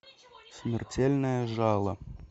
смертельное жало